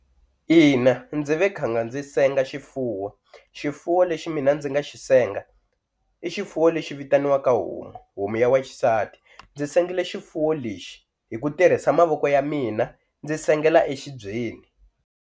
Ina ndzi ve khanga ndzi senga xifuwo xifuwo lexi mina ndzi nga xi senga i xifuwo lexi vitaniwaka homu, homu ya wa xisati ndzi sengela xifuwo lexi hi ku tirhisa mavoko ya mina ndzi sengela exibyeni.